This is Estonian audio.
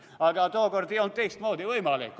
Aga tookord ei olnud teistmoodi võimalik.